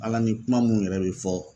Ala ni kuma mun yɛrɛ be fɔ